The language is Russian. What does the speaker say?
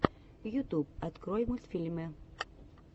ютуб открой мультфильмы